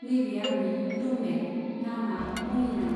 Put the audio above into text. नैबे आंनि रुममेट, नामा मलिना।